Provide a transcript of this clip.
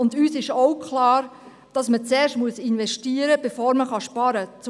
Uns ist auch klar, dass man zuerst investieren muss, bevor man sparen kann.